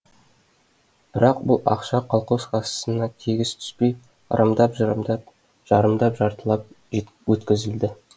бірақ бұл ақша колхоз кассасына тегіс түспей ырымдап жырымдап жарымдап жартылап өткізілді